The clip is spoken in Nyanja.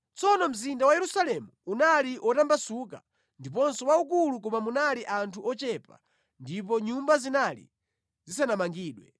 Tsono mzinda wa Yerusalemu unali wotambasuka ndiponso waukulu koma munali anthu ochepa ndipo nyumba zinali zisanamangidwe.